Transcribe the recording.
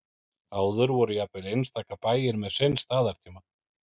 áður voru jafnvel einstaka bæir með sinn staðartíma